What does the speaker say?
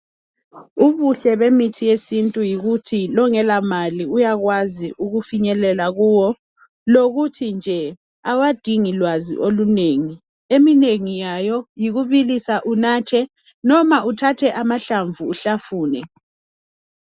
Ubuhle bemithi yesintu yikuthi longela mali uyakwazi ukufinyelela kuwo. Lokuthi nje awadiingi lwazi olunengi. Eminengi yayo yikubilisa unathe. Noma uthathe amahlamvu uhlafune .